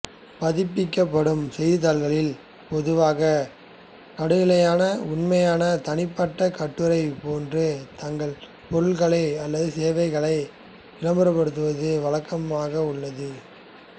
பதிப்பிக்கப்படும் செய்தித்தாள்களில் பொதுவாக நடுநிலையான உண்மையான தனிப்பட்ட கட்டுரை போன்று தங்கள் பொருட்கள் அல்லது சேவைகளை விளம்பரப்படுத்துவது வழக்கமாக உள்ளது